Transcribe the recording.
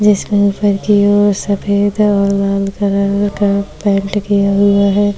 जिसमे सफेद और लाल कलर का पेंट किया हुआ है।